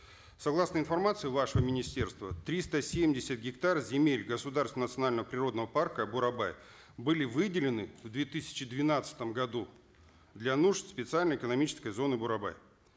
согласно информации вашего министерства триста семьдесят гектар земель государственного национального природного парка бурабай были выделены в две тысячи двенадцатом году для нужд специальной экономической зоны бурабай